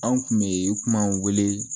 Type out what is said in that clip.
An kun bɛ kuma wele